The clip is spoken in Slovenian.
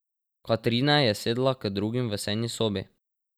Katrine je sedla k drugim v sejni sobi.